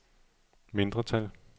mindretal